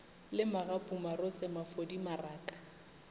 le magapu marotse mafodi maraka